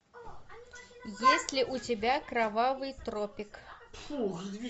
есть ли у тебя кровавый тропик